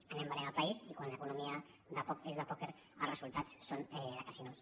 anem venent el país i quan l’economia és de pòquer els resultats són de casinos